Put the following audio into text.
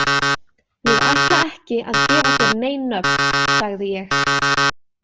Ég ætla ekki að gefa þér nein nöfn, sagði ég.